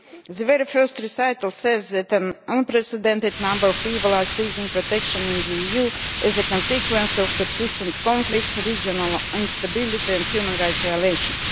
Its very first recital says that an unprecedented number of people are seeking protection in the EU as a consequence of persistent conflicts, regional instability and human rights violations.